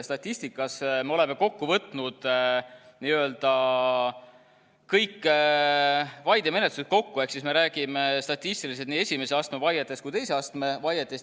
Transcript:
Statistikas me oleme kõik vaidemenetlused võtnud kokku, ehk siis me räägime statistiliselt nii esimese astme vaietest kui ka teise astme vaietest.